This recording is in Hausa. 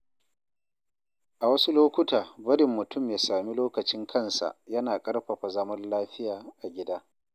A wasu lokuta, barin mutum ya sami lokacin kansa yana ƙarfafa zaman lafiya a gida.